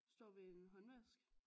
Står ved en håndvask